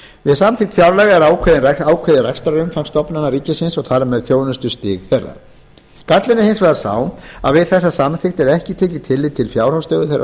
við samþykkt fjárlaga er ákveðið rekstrarumfang stofnana ríkisins og þar með þjónustustig þeirra gallinn er hins vegar sá að við þessa samþykkt er ekki tekið tillit til fjárhagsstöðu þeirra